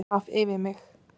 Svaf yfir mig